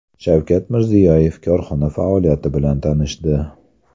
Shavkat Mirziyoyev korxona faoliyati bilan tanishdi.